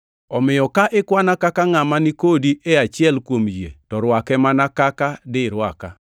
Omiyo ka ikwana kaka ngʼama ni kodi e achiel kuom yie to rwake mana kaka dirwaka.